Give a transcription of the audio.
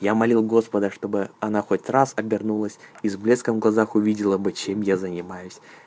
я молил господа чтобы она хоть раз обернулась и с блеском в глазах увидела бы чем я занимаюсь